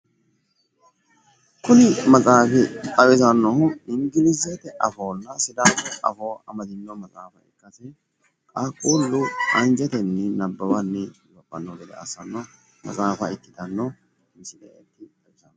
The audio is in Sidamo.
kuni maxaafi xawisannohu ingilizete afoonna sidaamu afoo amadino maxaafa ikkasi qaaqqulu anjetenni nabbawanni afanno gede assanno maxaafa ikkitano misileeti.